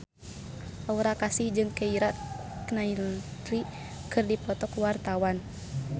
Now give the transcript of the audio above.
Aura Kasih jeung Keira Knightley keur dipoto ku wartawan